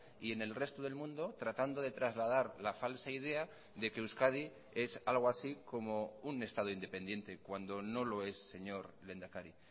y en el resto del mundo tratando de trasladar la falsa idea de que euskadi es algo así como un estado independiente cuando no lo es señor lehendakari